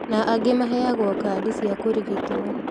Na angĩ maheagwo kandi cia kũrigitwo